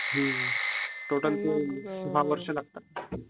ह्म्म्म, total course सहा वर्ष लागतात